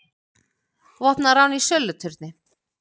Vopnað rán í söluturni